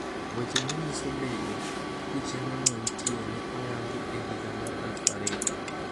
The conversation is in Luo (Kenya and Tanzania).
Weche ma nyiso bedo ni chenrono nitie ne oyang e higa mar 2000.